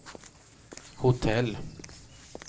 hotell